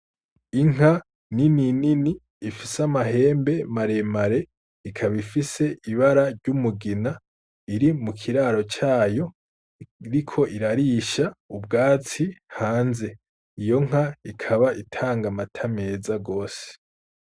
Inka nini nini zifise amahembe maremare ikaba ifise ibara ryumugina iri mukiraro cayo iriko irarisha ubwatsi hanze, iyonka ikaba itanga amata meza gose.